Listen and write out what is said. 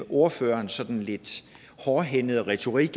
ordførerens sådan lidt hårdhændede retorik